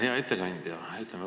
Hea ettekandja!